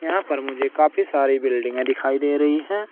यहाँ पर मुझे काफी सारी दिखाई दे रही हैं।